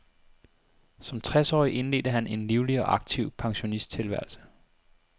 Som tres årig indledte han en livlig og aktiv pensionisttilværelse.